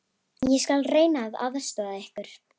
Ég skal reyna að aðstoða ykkur.